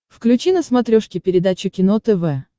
включи на смотрешке передачу кино тв